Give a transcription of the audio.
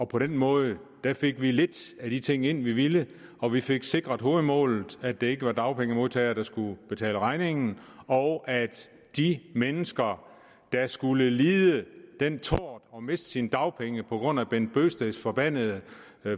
på den måde fik vi lidt af de ting ind vi ville og vi fik sikret hovedmålet at det ikke var dagpengemodtagere der skulle betale regningen og at de mennesker der skulle lide den tort at miste deres dagpenge på grund af bent bøgsteds forbandede